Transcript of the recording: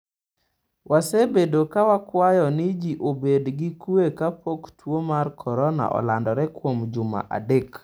‘Wasebedo ka wakwayo ni ji obed gi kue kapok tuo mar korona olandore kuom juma adek.